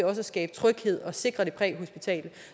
også at skabe tryghed og sikre det præhospitale